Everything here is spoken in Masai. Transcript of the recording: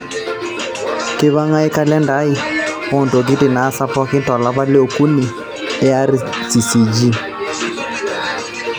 keipangae kalenda ai ontokitin naasa pooki tolapa liokuni e rccg